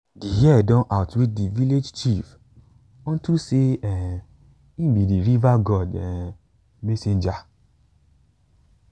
de hare don outwit de village chief unto sey um im be de river god um messenger